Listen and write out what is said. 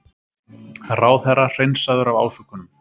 Ráðherra hreinsaður af ásökunum